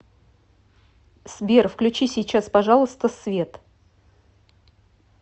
сбер включи сейчас пожалуйста свет